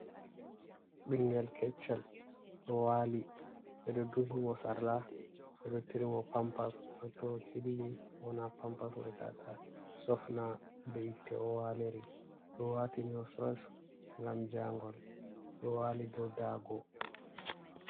Bingel kecchel ɗo wali beɗo ɗuhi mo sarla, beɗo tirimo pampas beba to o shilli wona ha pampas mai. tata sofna beitte o walerili. Ɗo watini mo sos ngam jagol. Oɗo wali dow dago.